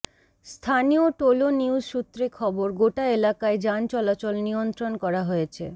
স্থানীয় Tolo News সূত্রে খবর গোটা এলাকায় যান চলাচল নিয়ন্ত্রণ করা হয়েছে